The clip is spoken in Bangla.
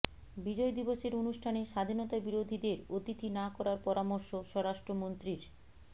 বিজয় দিবসের অনুষ্ঠানে স্বাধীনতাবিরোধীদের অতিথি না করার পরামর্শ স্বরাষ্ট্রমন্ত্রীর